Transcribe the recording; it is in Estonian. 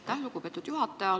Aitäh, lugupeetud juhataja!